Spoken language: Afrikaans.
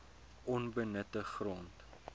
onbenutte grond